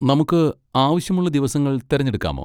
നമുക്ക് ആവശ്യമുള്ള ദിവസങ്ങൾ തിരഞ്ഞെടുക്കാമോ?